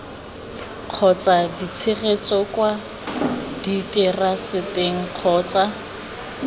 kgotsa tshegetso kwa diteraseteng kgotsa